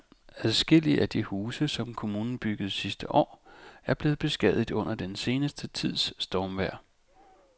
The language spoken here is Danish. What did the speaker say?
Adskillige af de huse, som kommunen byggede sidste år, er blevet beskadiget under den sidste tids stormvejr.